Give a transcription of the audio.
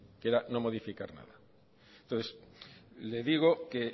que era no modificar nada entonces le digo que